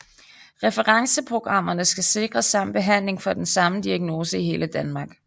Referenceprogrammerne skal sikre samme behandling for den samme diagnose i hele Danmark